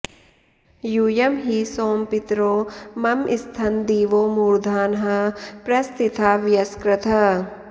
यूयं हि सोम पितरो मम स्थन दिवो मूर्धानः प्रस्थिता वयस्कृतः